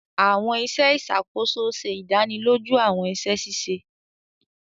Awọn iṣẹ ìṣàkóso ṣe ìdánilójú awọn iṣẹ ṣiṣe